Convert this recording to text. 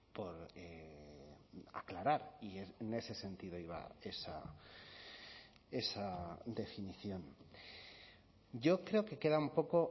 por aclarar y en ese sentido iba esa definición yo creo que queda un poco